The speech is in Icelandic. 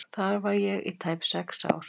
Þar var ég í tæp sex ár.